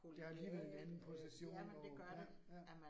Der alligevel en anden position og ja ja